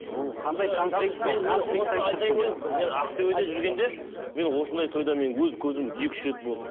мен ақтөбеде жүргенде мен осындай тойда мен өз көзім екі үш рет болдым